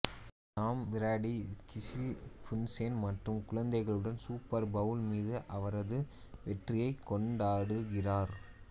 Tom Brady Gisele Bundchen மற்றும் குழந்தைகளுடன் Super Bowl மீது அவரது வெற்றியைக் கொண்டாடுகிறார்